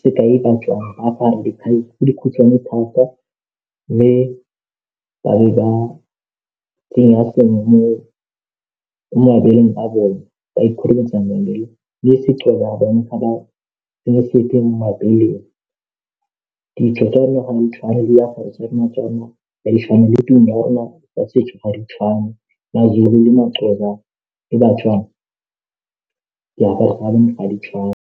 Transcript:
sekai ba tswa ba apare dikhai tse dikhutshwane thata le ba be ba tsenya sengwe mo mabeleng a bone ba ikhurumetsa mabele le se'Xhosa bone ga ba tsenye sepe mo mebeleng, ditso tsa rona ga di tshwane le tsa setso ga di tshwane, ma'Zulu le ma'Xhosa le Batswana diaparo tsa bone a di tshwane.